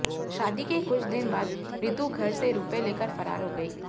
शादी के कुछ दिन बाद ऋतु घर से रुपए लेकर फरार हो गई